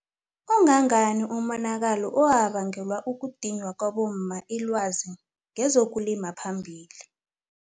Ongangani umonakalo owabangelwa kudinywa kwabomma ilwazi ngezokulima phambili.